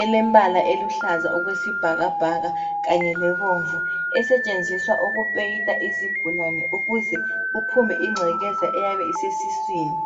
elembala eluhlaza okwesibhakabhaka kanye lebomvu esetshenziswa ukupeyida izigulane ukuze kuphume ingcekeza eyabe isesiswini.